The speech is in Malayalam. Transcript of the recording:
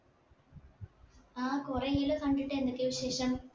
ആ കൊറേ ആയില്ലോ കണ്ടിട്ട്. എന്തൊക്കെയാ വിശേഷം?